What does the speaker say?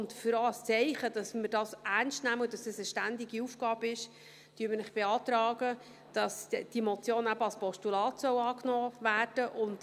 Auch als Zeichen, dass wir das ernst nehmen und dass es auch eine ständige Aufgabe ist, beantragen wir Ihnen, dass diese Motion eben als Postulat angenommen werden soll.